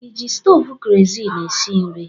Ị ji stovu kerozin esi nri?